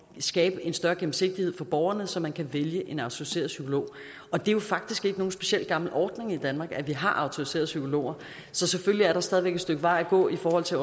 skabe en større gennemsigtighed for borgerne så man kan vælge en autoriseret psykolog og det er jo faktisk ikke nogen specielt gammel ordning i danmark at vi har autoriserede psykologer så selvfølgelig er der stadig et stykke vej at gå i forhold til